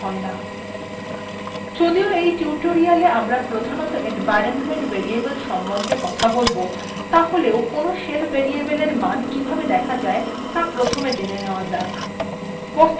যদিও এই tutorial we আমরা প্রধানত environment variable সম্বন্ধে কথা বলব তাহলেও কোনো shell variable এর মান কিভাবে দেখা যায় ত়া প্রথমে জেনে নেওয়া যাক